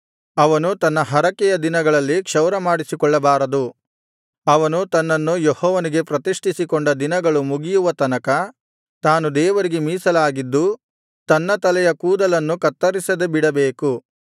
ಅವನು ತನ್ನ ಹರಕೆಯ ದಿನಗಳಲ್ಲಿ ಕ್ಷೌರಮಾಡಿಸಿಕೊಳ್ಳಬಾರದು ಅವನು ತನ್ನನ್ನು ಯೆಹೋವನಿಗೆ ಪ್ರತಿಷ್ಠಿಸಿಕೊಂಡ ದಿನಗಳು ಮುಗಿಯುವ ತನಕ ತಾನು ದೇವರಿಗೆ ಮೀಸಲಾಗಿದ್ದು ತನ್ನ ತಲೆಯ ಕೂದಲನ್ನು ಕತ್ತರಿಸದೆ ಬಿಡಬೇಕು